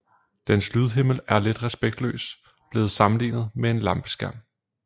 Dens lydhimmel er lidt respektløst blevet sammenlignet med en lampeskærm